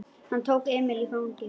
Hann tók Emil í fangið.